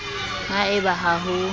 ha e ba ha ho